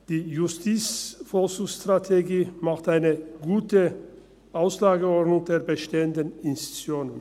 Die JVS macht eine gute Auslegeordnung der bestehenden Institutionen.